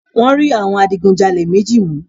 Wọ́n rí àwọn adigunjalè méji mu